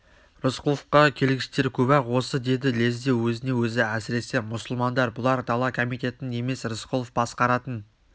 рысқұловқа келгіштер көп-ақ осы деді лезде өзіне-өзі әсіресе мұсылмандар бұлар дала комитетін емес рысқұлов басқаратын